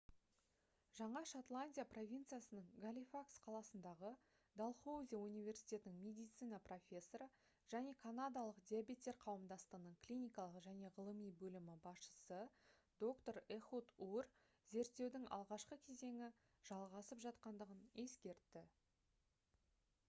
жаңа шотландия провинциясының галифакс қаласындағы далхоузи университетінің медицина профессоры және канадалық диабеттер қауымдастығының клиникалық және ғылыми бөлімі басшысы доктор эхуд ур зерттеудің алғашқы кезеңі жалғасып жатқандығын ескертті